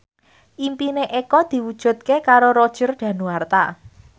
impine Eko diwujudke karo Roger Danuarta